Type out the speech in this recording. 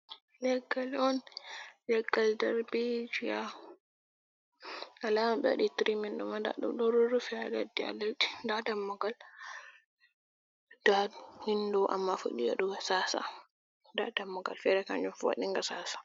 Leggal on, leggal darbijiya alama ɓawaɗi tirimin ɗum ndaɗum ma ɗo rurrufe haa leddi ha leddi, nda dammugal nda windo amma fuɗɗi waɗugo sasa, nda dammugal fere kanjum fu waɗinga sasa.